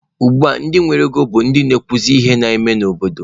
Ugbua ndị nwere ego bụ ndị na-ekwuzi ihe na-eme n'obodo.